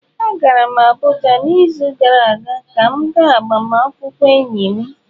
Agara m Abuja n'izu gara aga ka m gaa agbamakwụkwọ enyi m.